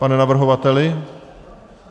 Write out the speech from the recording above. Pane navrhovateli?